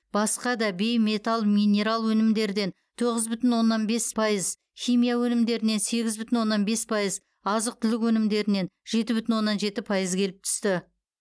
басқа да бейметалл минерал өнімдерден тоғыз бүтін оннан бес пайыз химия өнімдерінен сегіз бүтін оннан бес пайыз азық түлік өнімдерінен жеті бүтін оннан жеті пайыз келіп түсті